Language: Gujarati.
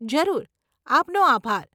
જરૂર, આપનો આભાર.